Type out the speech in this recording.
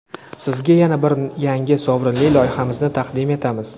Sizga yana bir yangi sovrinli loyihamizni taqdim etamiz:.